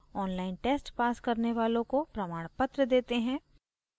online test pass करने वालों को प्रमाणपत्र देते हैं